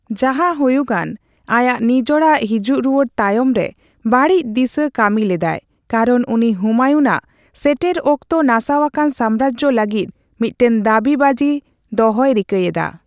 ᱡᱟᱦᱟᱸᱦᱩᱭᱩᱜᱟᱱ, ᱟᱭᱟᱜ ᱱᱤᱡᱚᱲᱟᱜ ᱦᱤᱡᱩᱜ ᱨᱩᱭᱟᱹᱲ ᱛᱟᱭᱚᱢ ᱨᱮ ᱵᱟᱹᱲᱤᱡ ᱫᱤᱥᱟᱹ ᱠᱟᱹᱢᱤ ᱞᱮᱫᱟᱭ ᱠᱟᱨᱚᱱ ᱩᱱᱤ ᱦᱩᱢᱟᱭᱩᱱ ᱟᱜ ᱥᱮᱴᱮᱨ ᱚᱠᱛᱚ ᱱᱟᱥᱟᱣᱟᱠᱟᱱ ᱥᱟᱢᱢᱨᱟᱡᱽᱡᱚ ᱞᱟᱹᱜᱤᱫ ᱢᱤᱫᱴᱮᱱ ᱫᱟᱹᱵᱤ ᱵᱟᱡᱤ ᱫᱚᱦᱚᱭ ᱨᱤᱠᱟᱹᱭᱮᱫᱟ ᱾